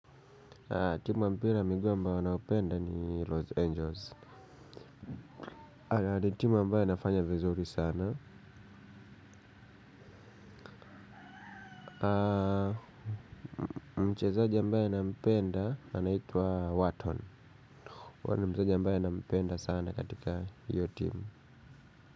Timu ya mpira wa miguu ambayo ninayopenda ni los angels ni timu ambayo inafanya vizuri sana. Mchezaji ambaye nampenda anaitwa waton huyo ni mchezaji ambaye na mpenda sana katika hiyo timu.